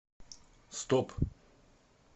стоп